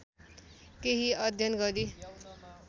केही अध्ययन गरी